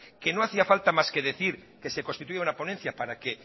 que no hacía falta más que decir que se constituya una ponencia para